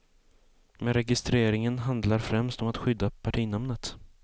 Men registreringen handlar främst om att skydda partinamnet.